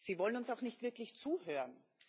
Sie wollen uns auch nicht wirklich zuhören.